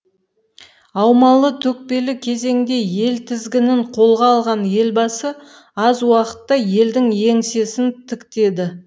аумалы төкпелі кезеңде ел тізгінін қолға алған елбасы аз уақытта елдің еңсесін тіктеді